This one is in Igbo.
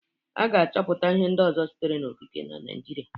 A ga-achọpụta ihe ndị ọzọ sitere n'okike na Naịjirịa.